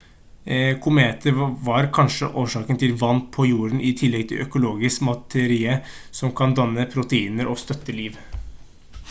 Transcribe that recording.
kometer var kanskje årsaken til vann på jorden i tillegg til økologisk materie som kan danne proteiner og støtte liv